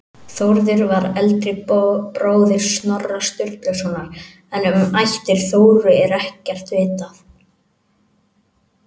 Þórður var eldri bróðir Snorra Sturlusonar en um ættir Þóru er ekkert vitað.